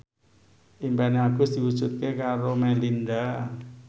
impine Agus diwujudke karo Melinda